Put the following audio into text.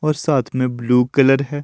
और साथ मे ब्लू कलर है।